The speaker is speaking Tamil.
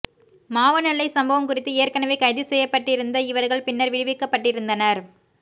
மாவனல்லை சம்பவம் குறித்து ஏற்கனவே கைது செய்யப்பட்டிருந்த இவர்கள் பின்னர் விடுவிக்கப்பட்டிருந்தனர்